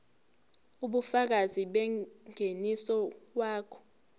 ubufakazi bengeniso wakho